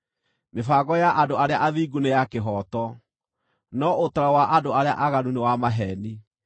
Mĩbango ya andũ arĩa athingu nĩ ya kĩhooto, no ũtaaro wa andũ arĩa aaganu nĩ wa maheeni.